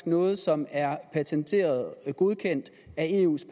noget som er patenteret godkendt af eus